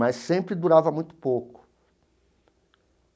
Mas sempre durava muito pouco.